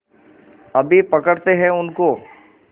अभी पकड़ते हैं उनको